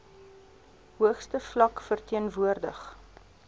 hoogste vlak verteenwoordig